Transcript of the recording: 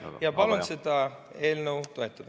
Ja palun seda eelnõu toetada.